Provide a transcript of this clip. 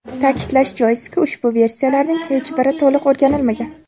Ta’kidlash joizki, ushbu versiyalarning hech biri to‘liq o‘rganilmagan.